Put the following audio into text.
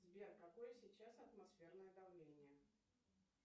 сбер какое сейчас атмосферное давление